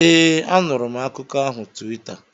ee, anụrụ m akụkọ ahụ Tuweeta